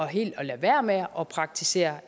helt lade være med at praktisere